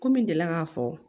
Komi n deli la k'a fɔ